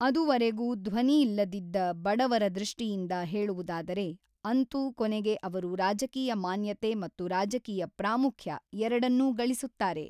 ಅದುವರೆಗೂ ಧ್ವನಿಯಿಲ್ಲದಿದ್ದ ಬಡವರ ದೃಷ್ಟಿಯಿಂದ ಹೇಳುವುದಾದರೆ, ಅಂತೂ ಕೊನೆಗೆ ಅವರು ರಾಜಕೀಯ ಮಾನ್ಯತೆ ಮತ್ತು ರಾಜಕೀಯ ಪ್ರಾಮುಖ್ಯ ಎರಡನ್ನೂ ಗಳಿಸುತ್ತಾರೆ.